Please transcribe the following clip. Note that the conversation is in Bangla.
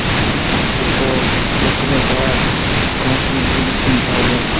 হু জুতো। জুতো। পেছনে Bag । সমস্ত কিছু জিনিস কিনতে হবে ।